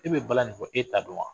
E bɛ balan nin fɔ e ta do wa.